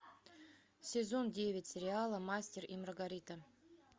сезон девять сериала мастер и маргарита